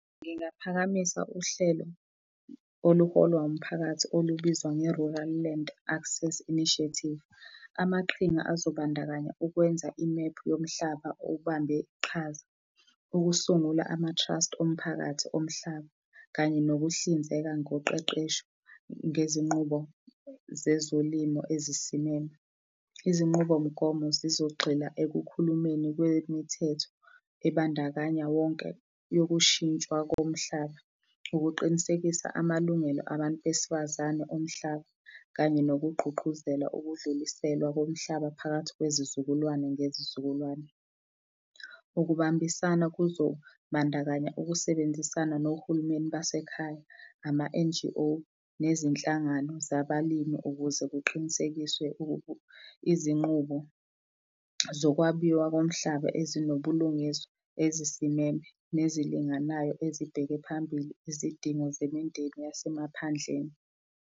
Ngingaphakamisa uhlelo oluholwa umphakathi olubizwa nge-Rural Land Access Initiative. Amaqhinga azobandakanya ukwenza imephu yomhlaba obambe iqhaza, ukusungulwa ama-trust omphakathi omhlaba kanye nokuhlinzeka ngokuqeqesho ngezinqubo zezolimo ezisimele. Izinqubomgomo zizogxila ekukhulumeni kwemithetho ebandakanya wonke yokushintshwa komhlaba ukuqinisekisa amalungelo abantu besifazane omhlaba kanye nokugqugquzela ukudluliselwa komhlaba phakathi kwezizukulwane ngezizukulwane. Ukubambisana kuzobandakanya ukusebenzisana nohulumeni basekhaya nama-N_G_O nezinhlangano zabalimi ukuze kuqinisekiswe izinqubo zokwabiwa komhlaba ezinobulungiswa, ezisimeme, nezilinganayo ezibheke phambili izidingo zemindeni yasemaphandleni.